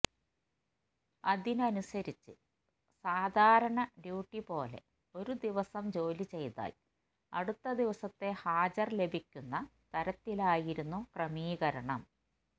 അതനുസരിച്ച് സാധാരണ ഡ്യൂട്ടി പോലെ ഒരു ദിവസം ജോലി ചെയ്താൽ അടുത്ത ദിവസത്തെ ഹാജർ ലഭിക്കുന്ന തരത്തിലായിരുന്നു ക്രമീകരണം